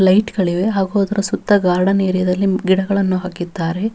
ಲೈಟ್ಗಳಿವೆ ಹಾಗೂ ಅದರ ಸುತ್ತ ಗಾರ್ಡನ್ ಏರಿಯಾದಲ್ಲಿ ಗಿಡಗಳನ್ನು ಹಾಕಿದ್ದಾರೆ.